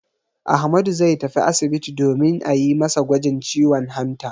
Ahmadu zai tafi asibiti domin a yi masa gwajin ciwon hanta.